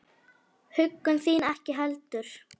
Huggun þín ekki heldur.